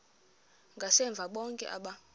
ngasemva bonke aba